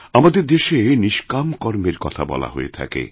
আমাদের দেশে নিষ্কাম কর্মের কথা বলা হয়েথাকে